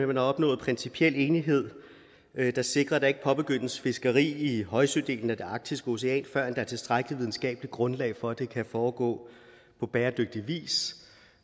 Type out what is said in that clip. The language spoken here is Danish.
man har opnået principiel enighed der sikrer at der ikke påbegyndes fiskeri i højsødelen af det arktiske ocean før der er tilstrækkeligt videnskabeligt grundlag for at det kan foregå på bæredygtig vis